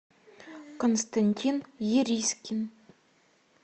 константин ерискин